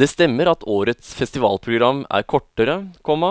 Det stemmer at årets festivalprogram er kortere, komma